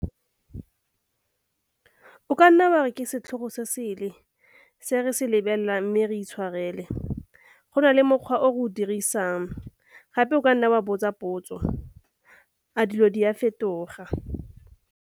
O ka nna wa re ke setlhogo sesele se re se lebelelang mme re itshwarele, go na le mokgwa o re o dirisang. Gape o ka nna wa botsa potso 'A dilo di a fetoga?'